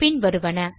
பின் வருவன